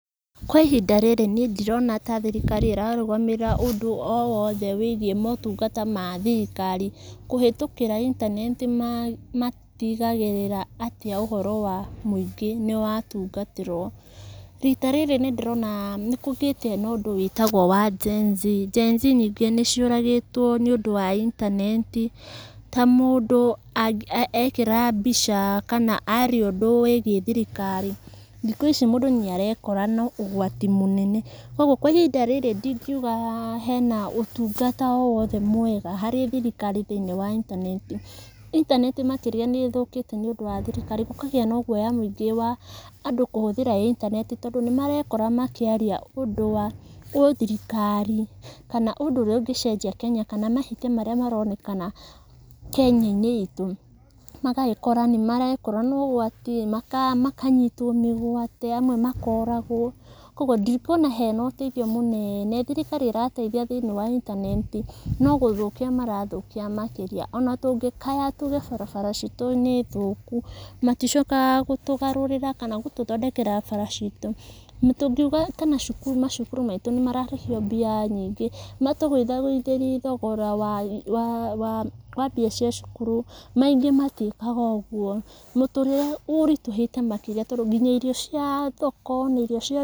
Kwa ihinda rĩrĩ nií ndirona ta thirikari ĩrarũgamĩrĩra ũndũ o wothe wĩgiĩ motungata ma thirikari kũhĩtũkĩra intaneti na na tigagĩrĩra atĩ ũhoro wa mũingĩ nĩwatungatwo, rita rĩrĩ nĩndĩrona nĩkũrĩ na ũndũ wĩtagwo wa GenZ. GenZ nyingĩ nĩciũragĩtwo nĩũndũ wa intaneti, ta mũndũ a ekĩra mbica kana aria ũndũ wĩgiĩ thirikari, thikũ ici mũndũ nĩarekora na ũgwati mũnene, ũguo kwa ihinda rĩrĩ ndingiuga hena, ũtungata o wothe mwega harĩ thirikari thĩ-inĩ wa intaneti, intaneti makĩria nĩthũkĩte nĩũndũ wa thirikari, gũkagĩa na guoya mũingĩ wa andũ kũhũthĩra intaneti tondũ nĩmarekora makĩaria ũndũ wa gĩthirirkari, kana ũndũ ũrĩa ũngĩcenjia kenya kana mahĩtia marĩa maronekana kenya-inĩ itũ, magagĩkora nĩmarekora nogwati, maka makanyitwo mĩgwate, amwe makoragwo, koguo ndikuona hena ũteithio mũnene, thirikari ĩrateithia thĩ-inĩ wa intaneti, no gũthũkia marathũkia makĩria, ona tũngíkorwo tuge barabara citũ nĩ thũku maticokaga gũtũgarũrĩra kana gũtũthondekera barabara citũ, an tũngiuga ta cukuru kana macukuru maitũ nĩmararĩhio mbia nyingĩ, matũgũithagũithĩrie thogora wa wa wa mbia cia cukuru, ningĩ matiĩkaga ũguo, mũtũrĩre ũritũhĩte makĩria tondũ nginya irio cia, thoko na irio cia.